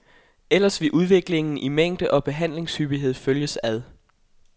Ellers ville udviklingen i mængde og behandlingshyppighed følges ad.